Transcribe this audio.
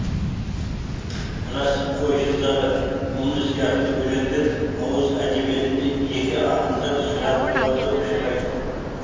рас қойшы зары мұңы сияқты өлеңдер ауыз әдебиетінде жеке ақындар шығармаларында ұшырайды